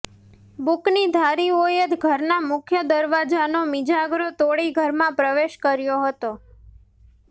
બુકનીધારીઓએ ઘરના મુખ્ય દરવાજાનો મિજાગરો તોડી ઘરમાં પ્રવેશ કર્યો હતો